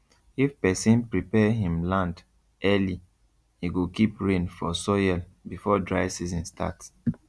if person prepare him land early e go keep rain for soil before dry season start